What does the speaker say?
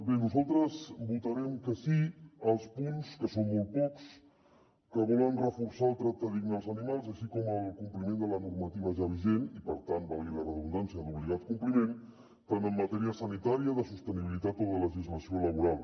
bé nosaltres votarem que sí als punts que són molt pocs que volen reforçar el tracte digne als animals així com el compliment de la normativa ja vigent i per tant valgui la redundància d’obligat compliment tant en matèria sanitària com de sostenibilitat o de legislació laboral